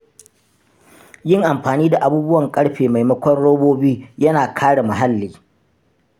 Yin amfani da abubuwan ƙarfe maimakon robobi yana kare muhalli.